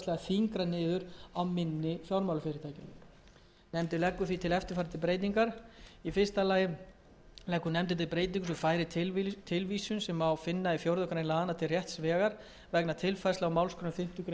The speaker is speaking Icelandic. þyngra niður á minni fjármálafyrirtækjum nefndin leggur því til eftirfarandi breytingar í fyrsta lagi leggur nefndin til breytingu sem færir tilvísun sem finna má í fjórða grein laganna til rétts vegar vegna tilfærslu á málsgreinum fimmtu grein